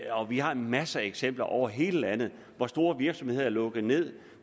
og vi har masser af eksempler over hele landet på at store virksomheder er lukket ned